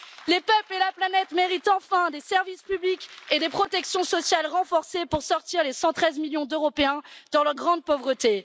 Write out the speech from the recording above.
Les peuples et la planète méritent enfin des services publics et des protections sociales renforcées pour sortir les 113 millions d'Européens de la grande pauvreté.